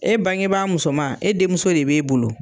E bangebaa musoman e denmuso de b'e bolo